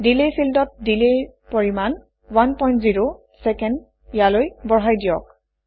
delay ফিল্ডত delay ৰ পৰিমাণ 10 চেক ইয়ালৈ বঢ়াই দিয়ক